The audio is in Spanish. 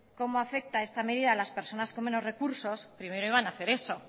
cómo afecta esta medida a las personas con menos recursos primero iban hacer eso